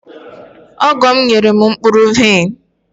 ọgọ m nyere m mkpụrụ vaịn..